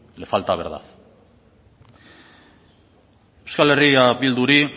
le falta verdad euskal herria bilduri